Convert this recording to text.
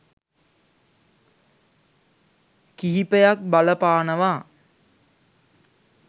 කිහිපයක් බලපානවා.